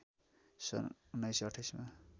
सन् १९२८ मा